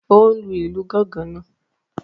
O n lù ìlú gangan náà.